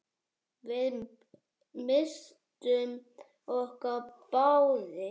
Við misstum okkur báðir.